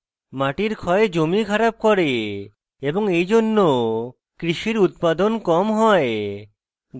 মাটির ক্ষয় জমি খারাপ করে এবং এইজন্য কৃষির উত্পাদন কম হয়